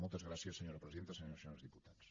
moltes gràcies senyora presidenta senyores i senyors diputats